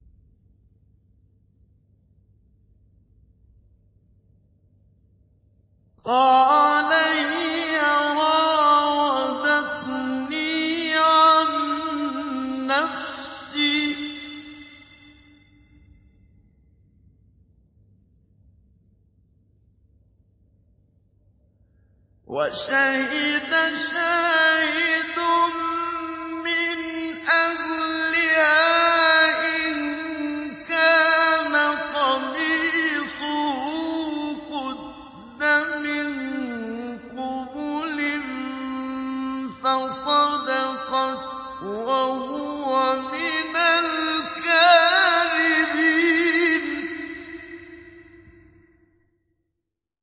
قَالَ هِيَ رَاوَدَتْنِي عَن نَّفْسِي ۚ وَشَهِدَ شَاهِدٌ مِّنْ أَهْلِهَا إِن كَانَ قَمِيصُهُ قُدَّ مِن قُبُلٍ فَصَدَقَتْ وَهُوَ مِنَ الْكَاذِبِينَ